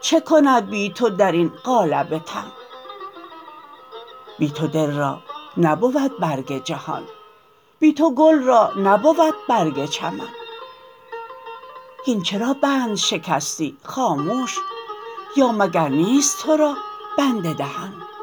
چه کند بی تو در این قالب تن بی تو دل را نبود برگ جهان بی تو گل را نبود برگ چمن هین چرا بند شکستی خاموش یا مگر نیست تو را بند دهن